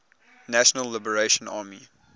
national liberation army